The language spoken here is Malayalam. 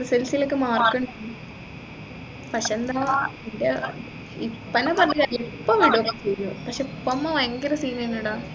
SLC ഒക്കെ mark ഉണ്ടായിന് പക്ഷേ എന്താ ഇപ്പൊ വിടും പക്ഷേ ഉപ്പ ഉമ്മ ഭയങ്കര scene ഏനു ഡാ